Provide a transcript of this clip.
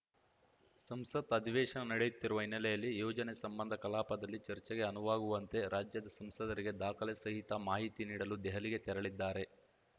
ಸಂಸತ್‌ ಅಧಿವೇಶನ ನಡೆಯುತ್ತಿರುವ ಹಿನ್ನೆಲೆಯಲ್ಲಿ ಯೋಜನೆ ಸಂಬಂಧ ಕಲಾಪದಲ್ಲಿ ಚರ್ಚೆಗೆ ಅನುವಾಗುವಂತೆ ರಾಜ್ಯದ ಸಂಸದರಿಗೆ ದಾಖಲೆ ಸಹಿತ ಮಾಹಿತಿ ನೀಡಲು ದೆಹಲಿಗೆ ತೆರಳಿದ್ದಾರೆ